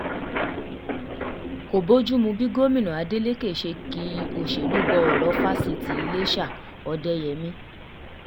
kò bojumu bí gomina adeleke um ṣe ki òṣèlú bo ọ̀rọ̀ fáṣítì um iléṣà-òdeyẹmi